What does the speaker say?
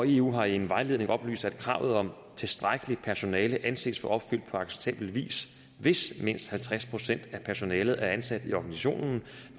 eu har i en vejledning oplyst at kravet om tilstrækkeligt personale anses for opfyldt på acceptabel vis hvis mindst halvtreds procent af personalet er ansat i organisationen